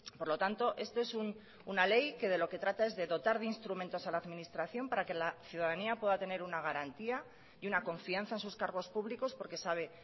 por lo tanto esto es una ley que de lo que trata es de dotar de instrumentos a la administración para que la ciudadanía pueda tener una garantía y una confianza a sus cargos públicos porque sabe